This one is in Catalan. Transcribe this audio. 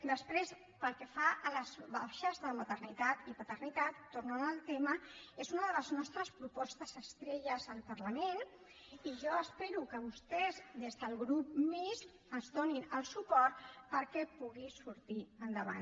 després pel que fa a les baixes de maternitat i paternitat torno al tema és una de les nostres propostes estrella al parlament i jo espero que vostès des del grup mixt ens donin el suport perquè pugui sortir endavant